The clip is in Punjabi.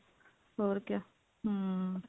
ਹੋਰ ਕਿਆ ਹਮ